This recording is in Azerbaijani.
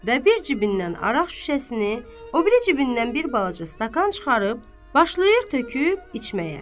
Və bir cibindən araq şüşəsini, o biri cibindən bir balaca stakan çıxarıb başlayır töküb içməyə.